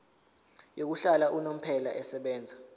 yokuhlala unomphela esebenzayo